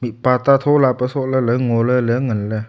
pata thola pe sohley ley ngoley ley nganley.